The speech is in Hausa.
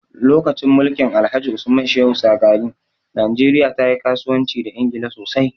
Lokacin mulkin Alhaji Usman Shehu Shagari, najeriya ta yi kasuwanci da Ingila sosai.